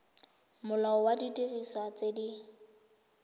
molao wa didiriswa tse di